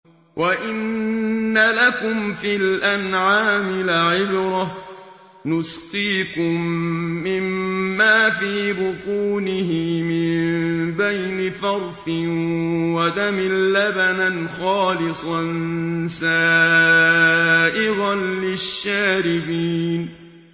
وَإِنَّ لَكُمْ فِي الْأَنْعَامِ لَعِبْرَةً ۖ نُّسْقِيكُم مِّمَّا فِي بُطُونِهِ مِن بَيْنِ فَرْثٍ وَدَمٍ لَّبَنًا خَالِصًا سَائِغًا لِّلشَّارِبِينَ